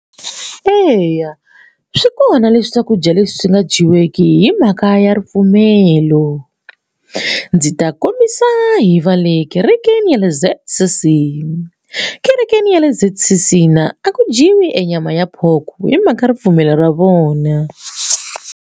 Eya swi kona leswi swakudya leswi swi nga dyiweki hi mhaka ya ripfumelo ndzi ta kombisa hi va le kerekeni ya le Z_C_C kerekeni ya le Z_C_C a ku dyiwi e nyama ya pork hi mhaka ripfumelo ra vona.